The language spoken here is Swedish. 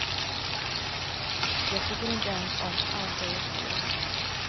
Jag tycker inte ens om allt det jag ser.